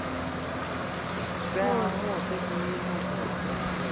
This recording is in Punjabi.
ਪੈਸੇ ਹੋਏਤੇ ਕਿ ਹੁਣ ਤਾ ਕਿ ਹੋ ਸਕਦਾ ਪੈਸੇ ਹੋਏ ਤੇ